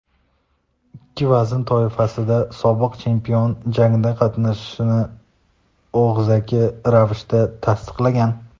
ikki vazn toifasida sobiq chempion jangda qatnashishini og‘zaki ravishda tasdiqlagan.